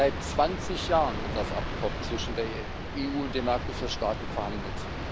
Seit 20 Jahren wird das Abkommen zwischen der EU und den Mercosur Staaten verhandelt.